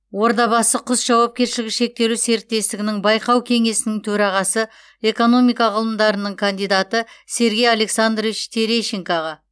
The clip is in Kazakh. ордабасы құс жауапкершілігі шектеулі серіктестігінің байқау кеңесінің төрағасы экономика ғылымдарының кандидаты сергей александрович терещенкаға